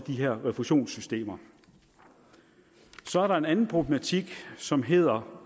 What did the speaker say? her refusionssystemer så er der en anden problematik som hedder